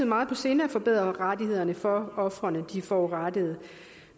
meget på sinde at forbedre rettighederne for ofrene de forurettede